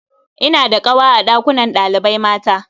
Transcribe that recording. Ina da ƙawa a ɗakunan ɗalibai mata.